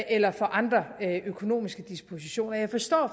eller for andre økonomiske dispositioner jeg forstår